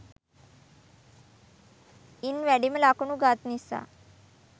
ඉන් වැඩිම ලකුණු ගත් නිසා